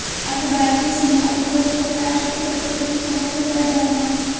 अखबार के संपादकों को ताश के पत्तों की तरह फेंटा जा रहा है